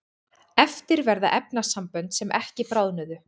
eftir verða efnasambönd sem ekki bráðnuðu